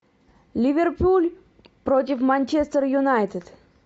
ливерпуль против манчестер юнайтед